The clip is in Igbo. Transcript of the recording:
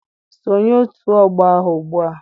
Sonye otu ọgbọ ahụ ugbua!